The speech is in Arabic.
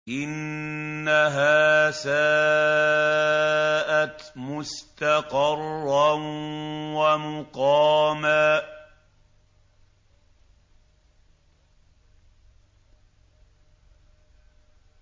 إِنَّهَا سَاءَتْ مُسْتَقَرًّا وَمُقَامًا